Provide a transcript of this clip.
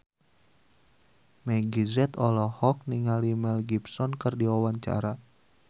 Meggie Z olohok ningali Mel Gibson keur diwawancara